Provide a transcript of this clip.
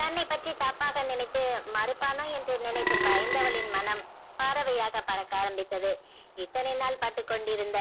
தன்னைப் பற்றி தப்பாக நினைத்து மருப்பானோ என்று நினைத்து பயந்தவளின் மனம் பறவையாக பறக்க ஆரமித்தத இத்தனை நாள் பட்டுக்கொண்டியிருந்